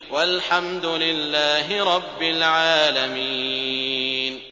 وَالْحَمْدُ لِلَّهِ رَبِّ الْعَالَمِينَ